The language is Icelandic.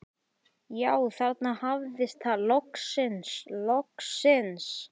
Já, þarna hafðist það, loksins, loksins.